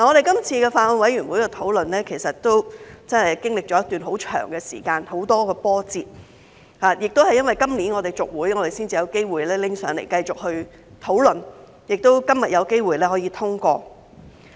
今次法案委員會的討論真的經歷了一段很長時間，有很多波折，亦因為今年我們延任，《條例草案》才有機會交上來繼續討論，且於今天有機會通過。